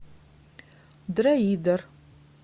дроидер